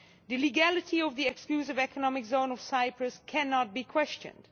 The legality of the exclusive economic zone of Cyprus cannot be questioned.